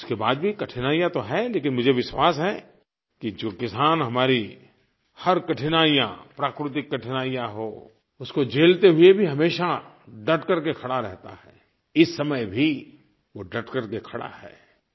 उसके बाद भी कठिनाइयाँ तो हैं लेकिन मुझे विश्वास है कि जो किसान हमारी हर कठिनाइयाँ प्राकृतिक कठिनाइयाँ हो उसको झेलते हुए भी हमेशा डट करके खड़ा रहता है इस समय भी वो डट करके खड़ा है